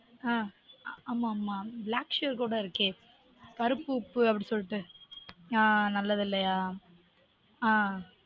ஆஹ் ஆஹ் ஆமா ஆமா black salt கூட இருக்கே கருப்பு உப்பு அப்டி சொல்லிட்டு ஆன் நல்லது இல்லயா